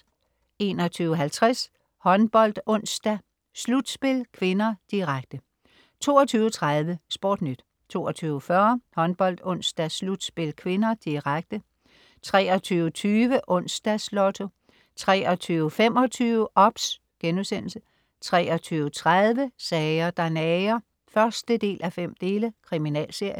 21.50 HåndboldOnsdag: Slutspil (k), direkte 22.30 SportNyt 22.40 HåndboldOnsdag: Slutspil (k), direkte 23.20 Onsdags Lotto 23.25 OBS* 23.30 Sager, der nager 1:5. Kriminalserie